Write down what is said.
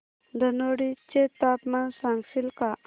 धनोडी चे तापमान सांगशील का